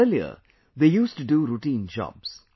Earlier they used to do routine jobs